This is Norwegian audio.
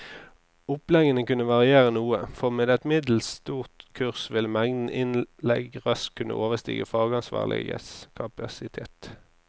Oppleggene kunne variere noe, for med et middels stort kurs ville mengden innlegg raskt kunne overstige fagansvarliges kapasitet.